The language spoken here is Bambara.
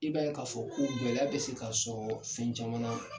I b'a ye k'a fɔ ko gɛlɛya bɛ se ka sɔrɔ fɛn caman na.